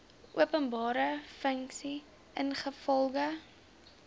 openbare funksie ingevolge